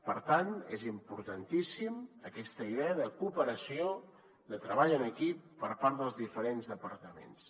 per tant és importantíssima aquesta idea de cooperació de treball en equip per part dels diferents departaments